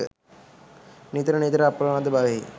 නිතර නිතර අප්‍රමාදී බවෙහි